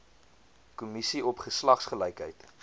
kommissie op geslagsgelykheid